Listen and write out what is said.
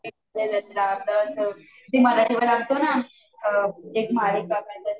ते मराठी वर लागतं न काहीतरी